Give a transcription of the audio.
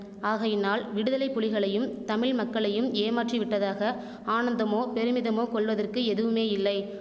ஆகையினால் விடுதலை புலிகளையும் தமிழ்மக்களையும் ஏமாற்றிவிட்டதாக ஆனந்தமோ பெருமிதமோ கொள்வதற்கு எதுவுமே இல்லை